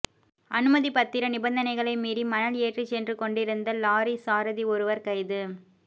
அனுமதி பத்திர நிபந்தனைகளை மீறி மணல் ஏற்றிச் சென்றுகொண்டிருந்த லொறி சாரதி ஒருவர் கைது